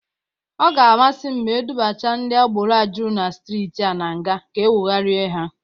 Ọ ga-amasị m ma e dubacha ndị agbero a jụrụ na strịtị a na nga ka ewogharịa ha.